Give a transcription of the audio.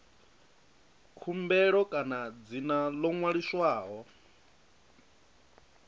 khumbelo kana dzina ḽo ṅwaliswaho